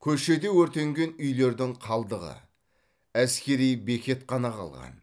көшеде өртенген үйлердің қалдығы әскери бекет қана қалған